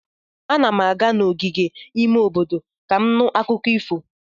Ana m aga n'ogige ime obodo ka m nụ akụkọ ifo.